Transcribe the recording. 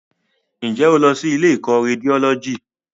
Ǹjẹ́ o lọ sí ilé ìkọ́ Rédiólọ́jì?